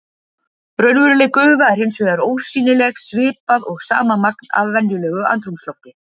Raunveruleg gufa er hins vegar ósýnileg svipað og sama magn af venjulegu andrúmslofti.